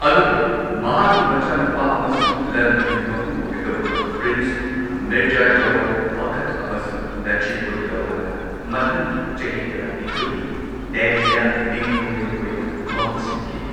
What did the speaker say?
ꯑꯗꯨꯕꯨ ꯃꯍꯥꯛꯀꯤ ꯃꯆꯥꯅꯨꯄꯥ ꯑꯃꯁꯨꯡ ꯂꯟ ꯊꯨꯝꯒꯤ ꯃꯄꯨ ꯑꯣꯢꯒꯗꯧꯔꯤꯕ ꯄ꯭ꯔꯤꯟꯁ ꯃꯤꯔꯖꯥ ꯖꯋꯥꯟ ꯕꯈꯠ ꯑꯃꯁꯨꯡ ꯅꯖꯤꯕ ꯎꯗ ꯗꯧꯂꯥꯅ ꯃꯊꯪꯒꯤ ꯆꯍꯤ ꯇꯔꯥꯅꯤꯊꯣꯏꯗꯤ ꯗꯦꯜꯂꯤꯗ ꯅꯤꯡꯊꯧꯔꯦꯜ ꯑꯣꯏꯅ ꯃꯍꯨꯠ ꯁꯤꯟꯈꯤ꯫